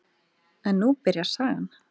En nú byrjar sagan.